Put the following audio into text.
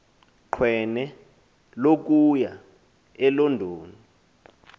qweno wokuya elondon